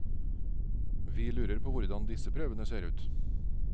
Vi lurer på hvordan disse prøvene ser ut.